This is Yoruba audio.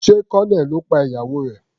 Sé Colonel ló pa ìyàwó rẹ̀.